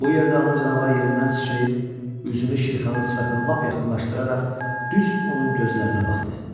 Bu yerdə ana canavar yerindən sıçrayıb üzünü Şirkhanın sifətinə lap yaxınlaşdıraraq düz onun gözlərinə baxdı.